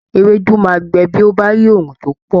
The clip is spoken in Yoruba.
Ewédú máa gbẹ bí ó bá rí oòrùn tó pọ̀.